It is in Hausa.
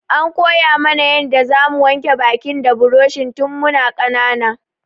An koya mu na yanda za mu wanke bakin mu da buroshi tun mu na ƙanana